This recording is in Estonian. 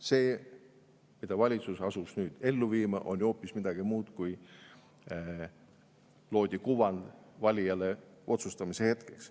See, mida valitsus asus nüüd ellu viima, on ju hoopis midagi muud, kui see kuvand, mis loodi valijale otsustamise hetkeks.